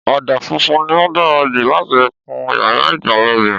Ọ̀dà funfun ni ó dára jù láti kun yàrá ìgbàlejò